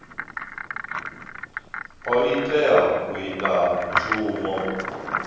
o tea u ita mushumo